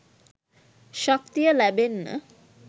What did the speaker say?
ශක්තිය ලැබෙන්න